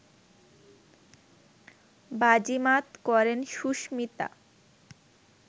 বাজিমাত করেন সুস্মিতা